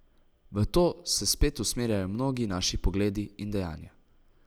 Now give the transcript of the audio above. V to se spet usmerjajo mnogi naši pogledi in dejanja.